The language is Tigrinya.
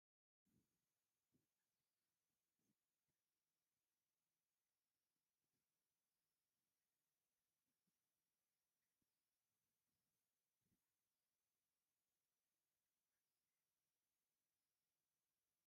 ኣእዱግ ኣብ መእሰሪ ተር ኢለን ይርአያ ኣለዋ፡፡ ኣእዱግ ብኸምዚ ኣብ ሓደ ቦታ ምእሳረን ከተማ ብፋንድያ ንከይረስሕ ንምክልኻል ዝተገብረ ዶ ኣይመስለኩምን?